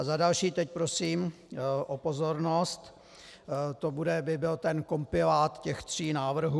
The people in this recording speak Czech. A za další, teď prosím o pozornost, to by byl ten kompilát těch tří návrhů: